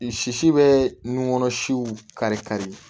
Sisi bɛ nun kɔnɔ siw kari kari